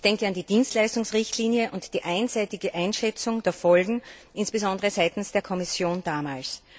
Ich denke an die Dienstleistungsrichtlinie und die einseitige Einschätzung der Folgen insbesondere seitens der Kommission damals.